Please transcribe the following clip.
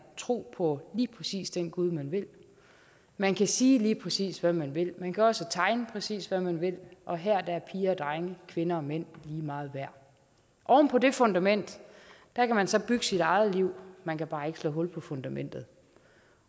tro på lige præcis den gud man vil man kan sige lige præcis hvad man vil man kan også tegne præcis hvad man vil og her er piger og drenge kvinder og mænd lige meget værd oven på det fundament kan man så bygge sit eget liv man kan bare ikke slå hul på fundamentet